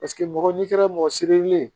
Paseke mɔgɔ n'i kɛra mɔgɔ sirilen ye